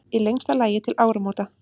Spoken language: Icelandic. Í lengsta lagi til áramóta.